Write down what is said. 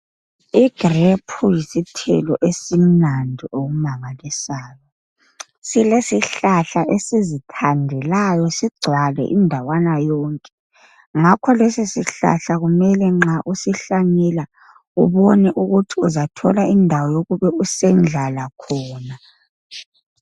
Igrephu yisithelo esimnandi okumangalisayo. Silesihlahla esizithandelayo sigcwale indawana yonke, ngakho lesi sihlahla kumele nxa usihlanyela ubone ukuthi uzathola indawo yokube usendlala khona.